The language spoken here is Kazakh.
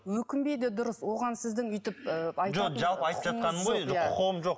өкінбейді дұрыс оған сіздің өйтіп ы жоқ құқығым жоқ